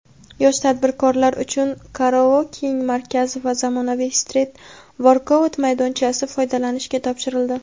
yosh tadbirkorlar uchun "Coworking" markazi va zamonaviy "Street workout"maydonchasi foydalanishga topshirildi.